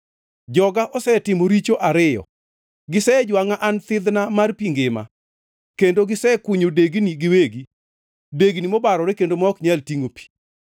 “Joga osetimo richo ariyo: Gisejwangʼa, an thidhna mar pi ngima, kendo gisekunyo degnigi giwegi, degni mobarore kendo ma ok nyal tingʼo pi.